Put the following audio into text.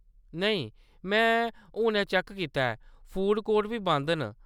नेईं, में हुनै चैक्क कीता ऐ, फूड कोर्ट बी बंद न।